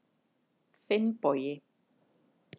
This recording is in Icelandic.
Finnbogi